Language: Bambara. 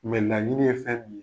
Mɛ naɲini ye fɛ min ye.